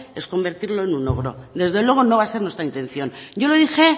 es convertirlo en un ogro desde luego no va a ser nuestra intención yo lo dije